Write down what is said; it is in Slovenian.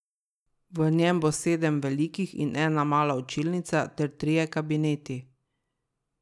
V njem bo sedem velikih in ena mala učilnic ter trije kabineti.